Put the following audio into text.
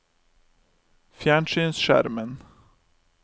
fjernsynsskjermen